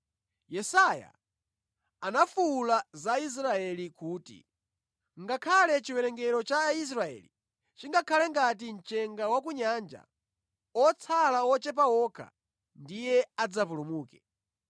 Yesaya anafuwula za Aisraeli kuti, “Ngakhale chiwerengero cha Aisraeli chingakhale ngati mchenga wa ku nyanja, otsala okha ndiye adzapulumuke.